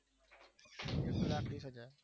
એક લાખ વીસ હજાર